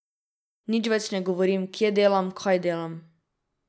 Nič več ne govorim, kje delam, kaj delam.